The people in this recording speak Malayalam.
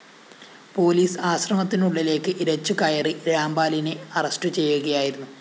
പോലീസ് ആശ്രമത്തിനുള്ളിലേക്ക് ഇരച്ചുകയറി രാം‌പാലിനെ അറസ്റ്റു ചെയ്യുകയായിരുന്നു